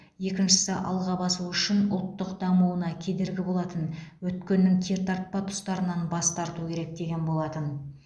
екіншісі алға басу үшін ұлттың дамуына кедергі болатын өткеннің кертартпа тұстарынан бас тарту керек деген болатын